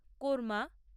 korma